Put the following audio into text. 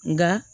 Nka